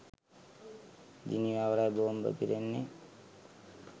ජිනීවාවලයි බෝම්බ පිපිරෙන්නේ